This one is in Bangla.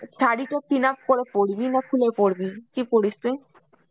শাড়ি তো pinup করে পরবি না খুলে পরবি কি পরিস তুই?